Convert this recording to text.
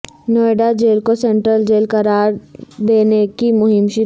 Noida jail کو central jail قرار د ینے کی مہم شروع